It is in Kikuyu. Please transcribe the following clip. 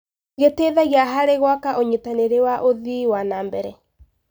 Gĩteithagia harĩ gwaka ũnyitanĩri wa ũthii wa na mbere.